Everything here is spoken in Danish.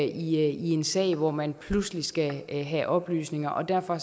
i en sag hvor man pludselig skal have oplysninger og derfor